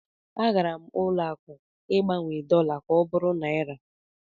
A gara m ụlọ akụ Ịgbanwe dọla m ka ọ bụrụ naịra.